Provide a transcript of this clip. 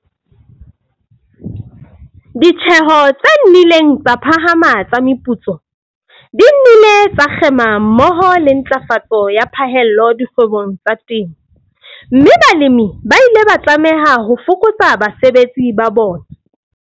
Ditjeho tse nnileng tsa phahama tsa meputso di nnile tsa kgema mmoho le ntlafatso ya phahello dikgwebong tsa temo, mme balemi ba ile ba tlameha ho fokotsa basebetsi ba bona.